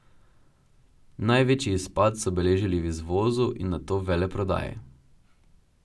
Največji izpad so beležili v izvozu in nato veleprodaji.